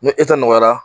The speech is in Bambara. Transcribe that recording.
Ni e ta nɔgɔyara